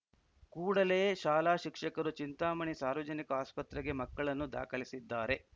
ಕೂಡಲೇ ಶಾಲಾ ಶಿಕ್ಷಕರು ಚಿಂತಾಮಣಿ ಸಾರ್ವಜನಿಕ ಆಸ್ಪತ್ರೆಗೆ ಮಕ್ಕಳನ್ನು ದಾಖಲಿಸಿದ್ದಾರೆ